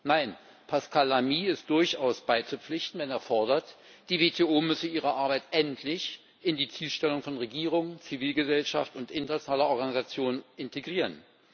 Nein, Pascal Lamy ist durchaus beizupflichten, wenn er fordert, die WTO müsse ihre Arbeit endlich in die Zielstellung von Regierungen, Zivilgesellschaft und internationalen Organisationen integrieren.